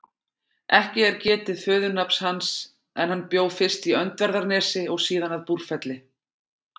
Ekki er getið föðurnafns hans en hann bjó fyrst í Öndverðarnesi og síðan að Búrfelli.